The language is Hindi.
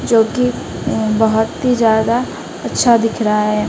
जोकि बहोत ही ज्यादा अच्छा दिख रहा है।